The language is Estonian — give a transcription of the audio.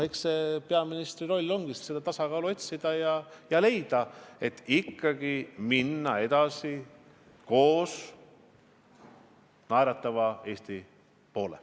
Eks peaministri roll ongi tasakaalu otsida ja leida lahendus, kuidas ikkagi minna koos edasi naeratava Eesti poole.